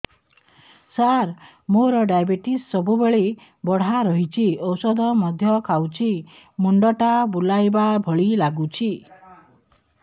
ସାର ମୋର ଡାଏବେଟିସ ସବୁବେଳ ବଢ଼ା ରହୁଛି ଔଷଧ ମଧ୍ୟ ଖାଉଛି ମୁଣ୍ଡ ଟା ବୁଲାଇବା ଭଳି ଲାଗୁଛି